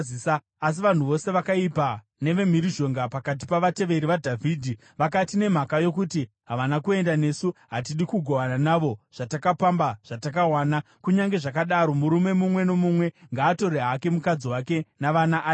Asi vanhu vose vakaipa nevemhirizhonga pakati pavateveri vaDhavhidhi vakati, “Nemhaka yokuti havana kuenda nesu, hatidi kugovana navo zvatakapamba zvatakawana. Kunyange zvakadaro, murume mumwe nomumwe ngaatore hake mukadzi wake navana aende.”